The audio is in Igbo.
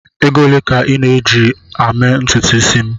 Ego ole ka ị na-eji eme ntutu isi m?